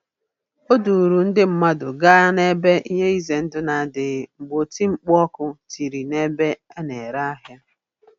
O duuru ndị mmadụ gaa n'ebe ihe ize ndụ na-adịghị mgbe oti mkpu ọkụ tiri n'ebe a na-ere ahịa.